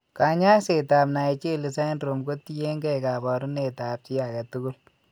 Kany'aaysetap Naegeli syndrome ko tiyekeey kaabarunetap chi ake tugul